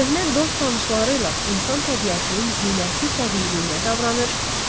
Köhnə dost-tanışları ilə insan təbiətinin zinəti təbiiliyinə davranır.